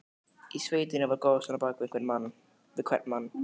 Í sveitinni var goðsögn á bak við hvern mann.